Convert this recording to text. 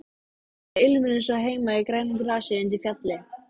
Aldrei ilmur eins og heima í grænu grasi undir fjalli.